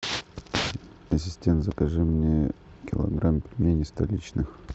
ассистент закажи мне килограмм пельменей столичных